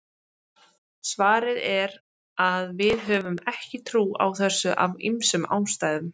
Svarið er að við höfum ekki trú á þessu af ýmsum ástæðum.